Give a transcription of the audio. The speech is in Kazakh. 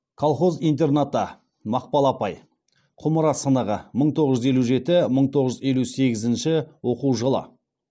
колхоз интернаты мақпал апай құмыра сынығы мың тоғыз жүз елу жеті мың тоғыз жүз елу сегізінші оқу жылы